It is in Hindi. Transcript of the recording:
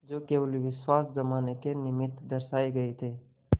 जो केवल विश्वास जमाने के निमित्त दर्शाये गये थे